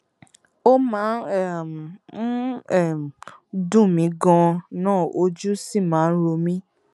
ó máa um ń um ń dùn mí ganan ojú sì máa ń ro mí